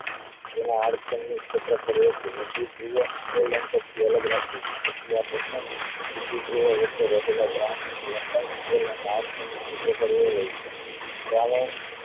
અલગ રાખવી છે જેથી આ બને વચ્ચે રહેલા દ્રૌણ ની લંબાયી હોય છે. દ્રાવણ